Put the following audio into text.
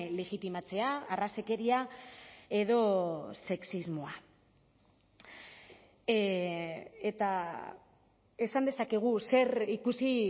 legitimatzea arrazakeria edo sexismoa eta esan dezakegu zer ikusi